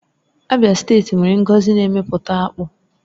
Abịa steeti nwere ngọzi n'eme pụta akpụ